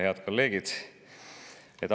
Head kolleegid!